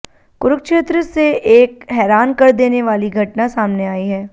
कुरुक्षेत्र से एक हैरान कर देने वाली घटना सामने आई है